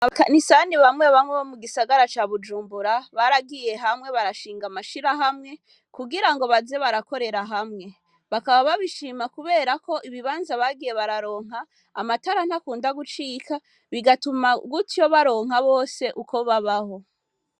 Abakanisani bamwe bamwe bo mu gisagara ca bujumbura baragiye hamwe barashinga amashira hamwe kugira ngo baze barakorera hamwe bakaba babishima, kubera ko ibibanza bagiye bararonka amatara ntakunda gucika bigatuma gutyo baronka bose uko babaho.